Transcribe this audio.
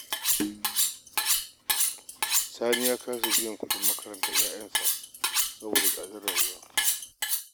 Sani ya kasa biyan kuɗin makarantar yaransa saboda tsadar rayuwa